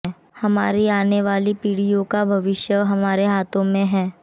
हमारी आने वाली पीढ़ियों का भविष्य हमारे हाथों में है